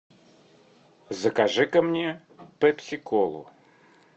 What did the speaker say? закажи ка мне пепси колу